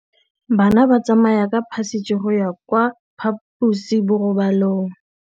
Bana ba tsamaya ka phašitshe go ya kwa phaposiborobalong.